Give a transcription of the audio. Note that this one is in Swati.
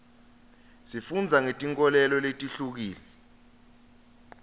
sifundza ngeti nkholelo letihlukile